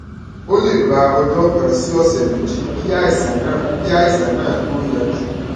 ó lè gba ọjọ kan sí ọsẹ méjì kí àìsàn náà kí àìsàn náà tó yanjú